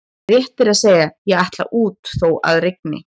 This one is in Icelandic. Rétt er að segja: ég ætla út þó að rigni